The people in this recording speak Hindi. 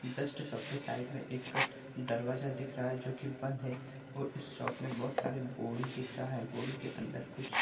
जस्ट शॉप के साइड मै एक दरवाज़ा दिख रहा है जो की बंद है और इस शॉप में बहोत सारी बोडी दिख रहा है बोडी के अंदर कुछ --